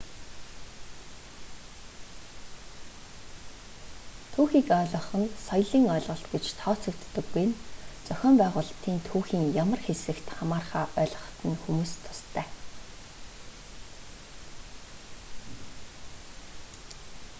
түүхийг ойлгох нь соёлын ойлголт гэж тооцогддоггүй нь зохион байгуулалтын түүхийн ямар хэсэгт хамаарахаа ойлгоход нь хүмүүст тустай